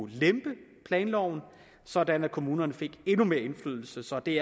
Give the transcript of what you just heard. lempe planloven sådan at kommunerne fik endnu mere indflydelse så det